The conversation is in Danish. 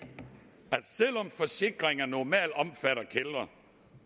at selv om forsikringer normalt omfatter kældre